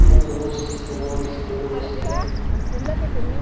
букля в ужасе стенала не своим голосом